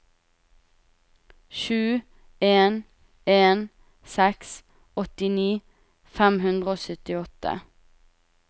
sju en en seks åttini fem hundre og syttiåtte